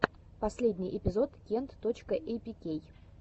последний эпизод кент точка эйпикей